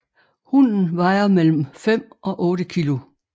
Hunnen vejer mellem 5 og 8 kg